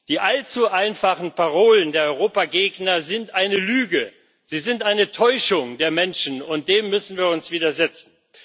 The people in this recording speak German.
Die allzu einfachen Parolen der Europagegner sind eine Lüge, sie sind eine Täuschung der Menschen, und dem müssen wir uns widersetzen.